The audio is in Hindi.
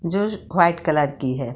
जोज वाइट कलर की है ।